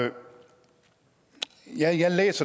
jeg er